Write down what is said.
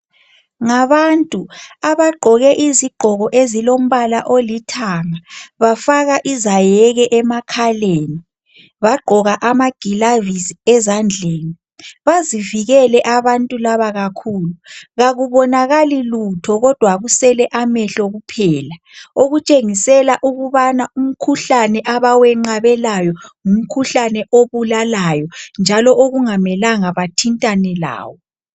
Ngabantu, abagqoke izigqoko ezilombala olithanga, bafaka izayeke emakhaleni. Bagqoka amagilavisi ezandleni. Bazivikele abantu laba kakhulu. Kakubonakali lutho kudwa kusele amehlo kuphela, okutshengisela ukubana umkhuhlane abawenqabelayo ngumkhuhlane obulalayo njalo okungamelanga bathintane lawo.